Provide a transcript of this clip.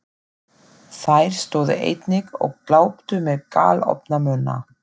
Þær stóðu einnig og gláptu með galopna munna.